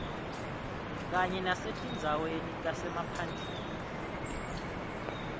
kanye nasetindzaweni tasemaphandleni